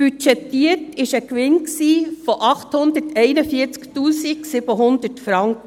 Budgetiert war ein Gewinn von 841 700 Franken.